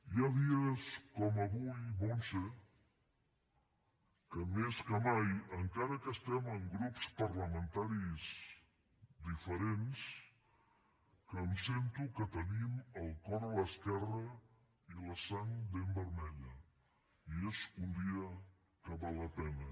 hi ha dies com avui montse que més que mai encara que estem en grups parlamentaris diferents que em sento que tenim el cor a l’esquerra i la sang ben vermella i és un dia que val la pena